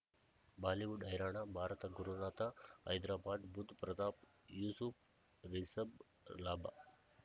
Bollywood ಹೈರಾಣ ಭಾರತ ಗುರುನಾಥ ಹೈದರಾಬಾದ್ ಬುಧ್ ಪ್ರತಾಪ್ ಯೂಸುಫ್ ರಿಷಬ್ ಲಾಭ